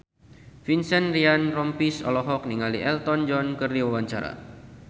Vincent Ryan Rompies olohok ningali Elton John keur diwawancara